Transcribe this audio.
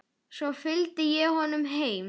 Svo fylgdi ég honum heim.